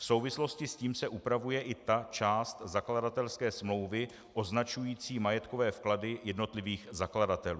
V souvislosti s tím se upravuje i ta část zakladatelské smlouvy označující majetkové vklady jednotlivých zakladatelů.